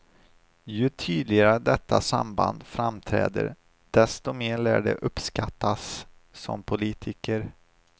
Ju tydligare detta samband framträder, desto mer lär de uppskattas som politiker.